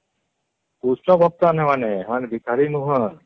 କୁଶ ଭକ୍ତ ମାନେ ସେମାନେ ସେମାନେ ଭିକାରି ନୁହଁ